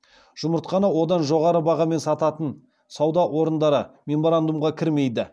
жұмыртқаны одан жоғары бағамен сататын сауда орындары меморандумға кірмейді